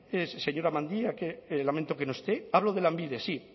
señora mendia que lamento que no esté hablo de lanbide sí